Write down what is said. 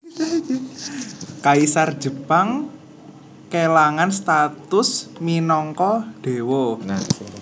Kaisar Jepang kélangan status minangka déwa